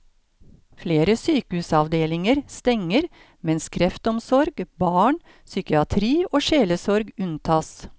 Flere sykehusavdelinger stenger mens kreftomsorg, barn, psykiatri og sjelesorg unntas.